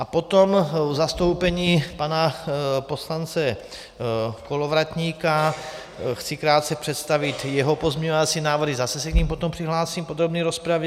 A potom v zastoupení pana poslance Kolovratníka chci krátce představit jeho pozměňovací návrhy, zase se k nim potom přihlásím v podrobné rozpravě.